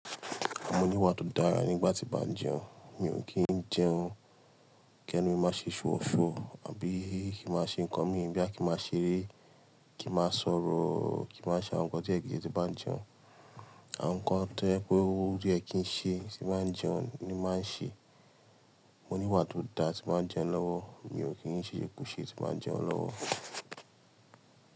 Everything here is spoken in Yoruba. Mo ní wà tó dára nígbà tí bá ń jẹun. Mi ò kí ń jẹun kí ẹnu mi má ṣe ṣú ọ̀ṣu àbí kí mà ṣe nǹkan mí ń bí à kí má ṣeré, kí mà sọ̀rọ̀, kí mà ṣà nkàn tí ẹ kìí ṣe tí bá ń jẹun. À nkàn tó yẹ pé orí ẹ kìí ṣe tí bá ń jẹun ni mà ń ṣe. Mo ní wà tó da tí mà ń jẹun lọ́wọ́. Mi ò kí ń ṣè jẹ kú ṣé tí mà ń jẹun lọ́wọ́.